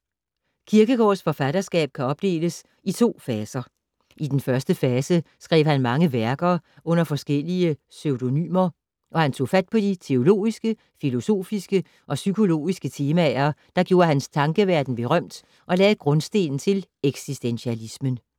Kierkegaards forfatterskab kan opdeles i to faser. I den første fase skrev han mange værker under forskellige pseudonymer, og han tog fat på de teologiske, filosofiske og psykologiske temaer, der gjorde hans tankeverden berømt og lagde grundstenen til eksistentialismen.